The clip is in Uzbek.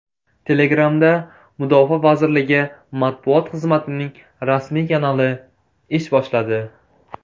Telegram’da mudofaa vazirligi matbuot xizmatining rasmiy kanali ish boshladi.